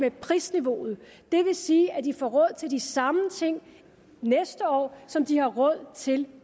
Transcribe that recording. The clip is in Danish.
i prisniveauet det vil sige at de får råd til de samme ting næste år som de har råd til